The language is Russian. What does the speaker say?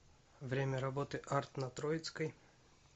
время работы арт на троицкой